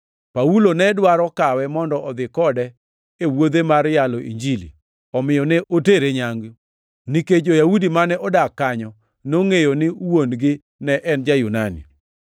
Paulo ne dwaro kawe mondo dhi kode e wuodhe mar yalo Injili, omiyo ne otere nyangu, nikech jo-Yahudi mane odak kanyo nongʼeyo ni wuon-gi ne en ja-Yunani.